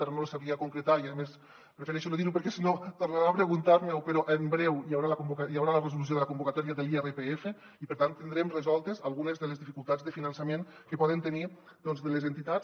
ara no li sabria concretar i a més prefereixo no dir ho perquè si no tornarà a preguntar m’ho però en breu hi haurà la resolució de la convocatòria de l’irpf i per tant tindrem resoltes algunes de les dificultats de finançament que poden tenir doncs les entitats